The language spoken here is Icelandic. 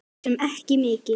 Svo sem ekki mikið.